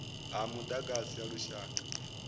ha mudagasi ha lushaka ner